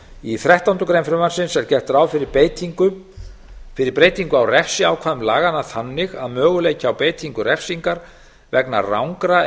í þrettándu greinar frumvarpsins er gert ráð fyrir breytingu á refsiákvæðum laganna þannig að möguleiki á beitingu refsingar vegna rangra